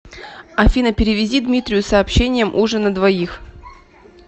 афина перевези дмитрию с сообщением ужин на двоих